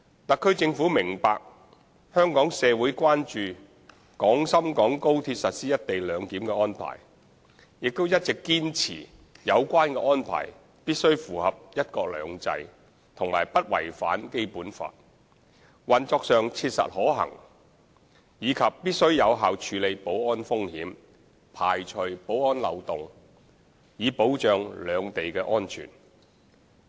特區政府明白香港社會關注廣深港高鐵實施"一地兩檢"的安排，亦一直堅持有關安排必須符合"一國兩制"和不違反《基本法》，運作上切實可行，以及必須有效處理保安風險，排除保安漏洞，以保障兩地的安全。